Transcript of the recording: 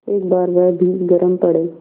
एक बार वह भी गरम पड़े